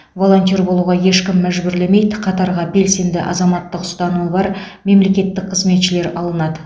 волонтер болуға ешкім мәжбүрлемейді қатарға белсенді азаматтық ұстанымы бар мемлекеттік қызметшілер алынады